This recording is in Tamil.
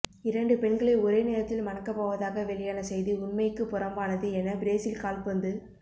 இரண்டு பெண்களை ஒரே நேரத்தில் மணக்கப்போவதாக வெளியான செய்தி உண்மைக்கு புறம்பானது என பிரேஸில் கால்பந்து